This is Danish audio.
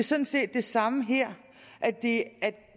sådan set det samme her